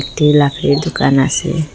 এটি লাকড়ি দুকান আসে।